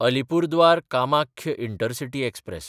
Alipurduar-Kamakhya intercity express